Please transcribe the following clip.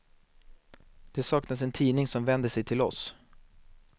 Det saknas en tidning som vänder sig till oss.